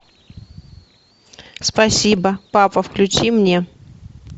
спасибо папа включи мне